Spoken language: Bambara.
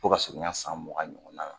U ka surunya san mugan ɲɔgɔn na